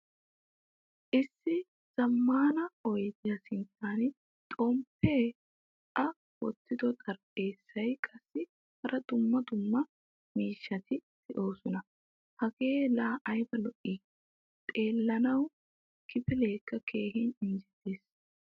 Issi zamaana oydiya sinttan xomppe, a wottido xaraphphezzay qassi hara dumma dumma miishshati deosona. Hagee la ayba lo'i? Xeelanawu kifilekka keehin injjettees.